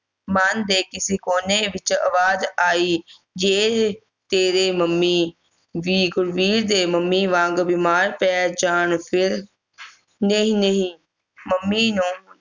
ਮਨ ਦੇ ਕਿਸੇ ਕੋਨੇ ਵਿੱਚ ਅਵਾਜ਼ ਆਈ ਜੇ ਤੇਰੇ ਮੰਮੀ ਵੀ ਗੁਰਵੀਰ ਦੇ ਮੰਮੀ ਵਾਂਗੂੰ ਬਿਮਾਰ ਪੈ ਜਾਣ ਨਹੀਂ ਨਹੀਂ ਮੰਮੀ ਨੂੰ